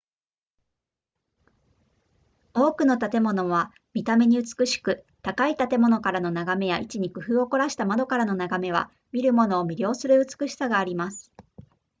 多くの建物は見た目に美しく高い建物からの眺めや位置に工夫を凝らした窓からの眺めは見る者を魅了する美しさがあります